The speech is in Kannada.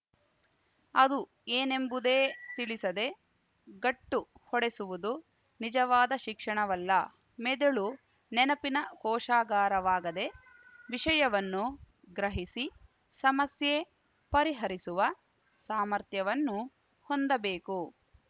ಅದು ಏನೆಂಬುದೇ ತಿಳಿಸದೆ ಗಟ್ಟು ಹೊಡೆಸುವುದು ನಿಜವಾದ ಶಿಕ್ಷಣವಲ್ಲ ಮೆದಳು ನೆನಪಿನ ಕೋಶಾಗಾರವಾಗದೆ ವಿಷಯವನ್ನು ಗ್ರಹಿಸಿ ಸಮಸ್ಯೆ ಪರಿಹರಿಸುವ ಸಾಮರ್ಥ್ಯವನ್ನು ಹೊಂದಬೇಕು